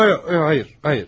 Yox yox, xeyr, xeyr.